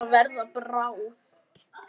Hún er að verða bráð.